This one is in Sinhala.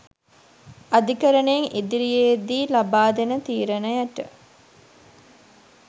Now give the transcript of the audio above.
අධිකරණයෙන් ඉදිරියේදී ලබාදෙන තීරණයට